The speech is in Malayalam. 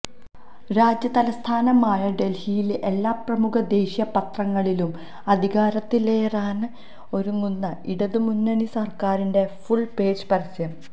രാജ്യതലസ്ഥാനമായ ഡൽഹിയിലെ എല്ലാ പ്രമുഖ ദേശീയ പത്രങ്ങളിലും അധികാരത്തിലേറാന് ഒരുങ്ങുന്ന ഇടത് മുന്നണി സർക്കാരിന്റെ ഫുൾ പേജ് പരസ്യം